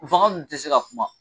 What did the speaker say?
Baganw dun tɛ se ka kuma.